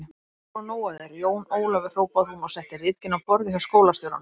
Ég er búin að fá nóg af þér, Jón Ólafur hrópaði hún og setti ritgerðina á borðið hjá skólastjóranum.